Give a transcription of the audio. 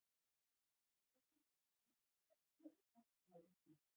höfrungar finnast á öllum hafsvæðum heims